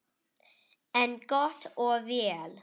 En gott og vel.